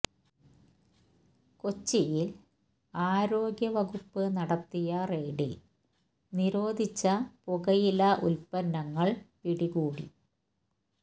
കൊച്ചിയില് ആരോഗ്യ വകുപ്പ് നടത്തിയ റെയ്ഡില് നിരോധിച്ച പുകയില ഉല്പ്പന്നങ്ങള് പിടികൂടി